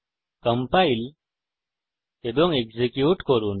compile এবং execute করি